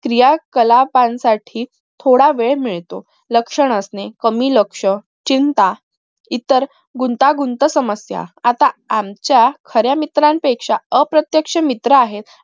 या सलखान साठी थोडा वेळ मिळतो लक्ष नसणे कमी लक्ष चिंता इतर गुंतागुंत समस्या आता आमच्या खऱ्या मित्रापेक्षा अप्रत्यक्ष मित्र आहेत